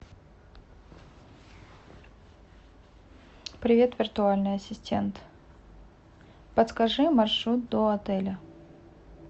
привет виртуальный ассистент подскажи маршрут до отеля